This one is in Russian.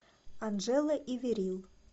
анджелла и вирил